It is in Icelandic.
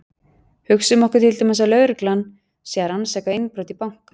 Hugsum okkur til dæmis að lögreglan sé að rannsaka innbrot í banka.